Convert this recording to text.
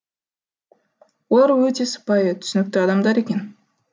олар өте сыпайы түсінікті адамдар екен